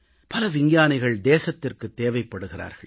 பல விஞ்ஞானிகள் தேசத்திற்குத் தேவைப்படுகிறார்கள்